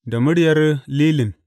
Da muryar Lilin.